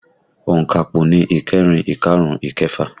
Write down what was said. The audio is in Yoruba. Onkapo ni ìkẹrin, ikarun, ikefa